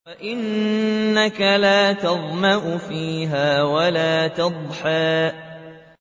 وَأَنَّكَ لَا تَظْمَأُ فِيهَا وَلَا تَضْحَىٰ